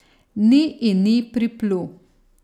Ni in ni priplul.